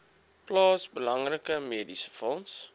plaas belangrike mediesefonds